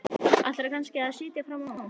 Ætlaðirðu kannski að sitja fram á nótt?